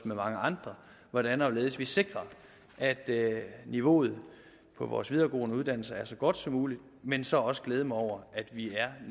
med mange andre hvordan og hvorledes vi sikrer at niveauet på vores videregående uddannelser er så godt som muligt men så også glæde mig over at vi er